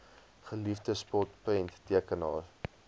geliefde spot prenttekenaar